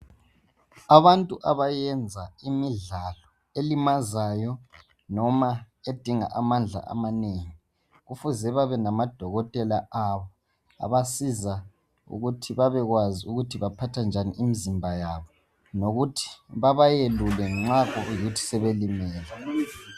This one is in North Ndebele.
Abantu abayenza imidlalo elimazayo noma edinga amandla amanengi kufuze babe namadokotela abo abasiza ukuthi babekwazi ukuthi baphatha njani imizimba yabo lokuthi babayelule nxa kuyikuthi sebelimele